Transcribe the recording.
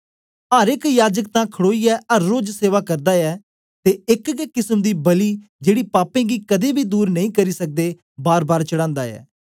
अर एक याजक तां खड़ोईयै अर रोज सेवा करदा ऐ ते एक गै किसम दी बलि जेड़ी पापें गी कदें बी दूर नेई करी सकदे बारबार चढ़ांदा ऐ